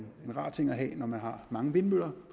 rar ting at have når man har mange vindmøller